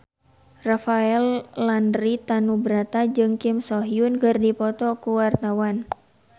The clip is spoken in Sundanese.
Rafael Landry Tanubrata jeung Kim So Hyun keur dipoto ku wartawan